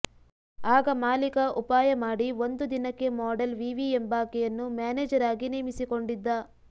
ಆಗ ಮಾಲೀಕ ಉಪಾಯ ಮಾಡಿ ಒಂದು ದಿನಕ್ಕೆ ಮಾಡಲ್ ವಿವಿ ಎಂಬಾಕೆಯನ್ನು ಮ್ಯಾನೇಜರ್ ಆಗಿ ನೇಮಿಸಿಕೊಂಡಿದ್ದ